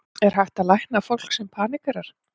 Er hægt að lækna fólk sem paníkerar?